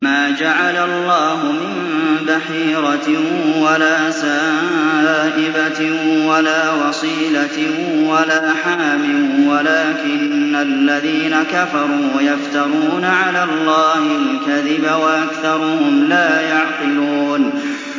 مَا جَعَلَ اللَّهُ مِن بَحِيرَةٍ وَلَا سَائِبَةٍ وَلَا وَصِيلَةٍ وَلَا حَامٍ ۙ وَلَٰكِنَّ الَّذِينَ كَفَرُوا يَفْتَرُونَ عَلَى اللَّهِ الْكَذِبَ ۖ وَأَكْثَرُهُمْ لَا يَعْقِلُونَ